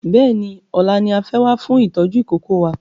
Bẹ́ẹ̀ni ọ̀la ni a fẹ́ wá fún ìtọ́jú ìkókó wa